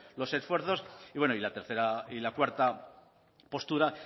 los esfuerzos y la tercera y la cuarta postura